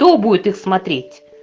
то будет их смотреть